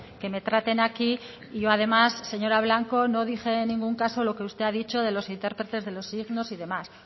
que me traten aquí y yo además señora blanco no dije en ningún caso lo que usted ha dicho de los intérpretes de los signos y demás